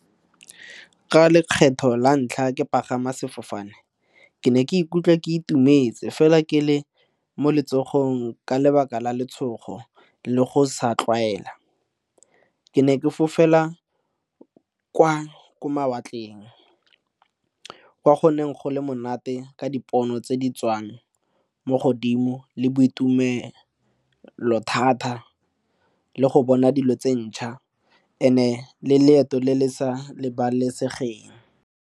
Ka lekgetho la ntlha ke pagama sefofane, ke ne ke ikutlwa ke itumetse fela ke le mo letsogong ka lebaka la letshogo le go sa tlwaela. Ke ne ke fofela kwa ko mawatleng kwa goneng go le monate ka dipono tse di tswang mo godimo le boitumelo thata le go bona dilo tse ntšha and-e le leeto le le sa lebalesegeng.